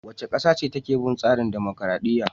Wace ƙasa ce take bin tsarin dumukuradiyya?